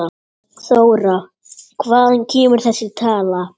Þóra: Hvaðan kemur þessi tala?